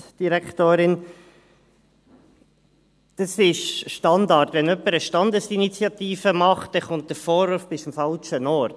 Wenn jemand eine Standesinitiative macht, kommt der Vorwurf, sie sei am falschen Ort: